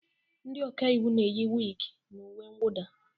Ndị ọka iwu na-eyi wig na uwe mwụda